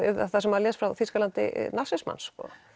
það sem maður les frá Þýskalandi nasismans